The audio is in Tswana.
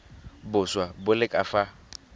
boswa bo le ka fa